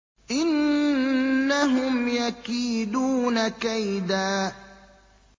إِنَّهُمْ يَكِيدُونَ كَيْدًا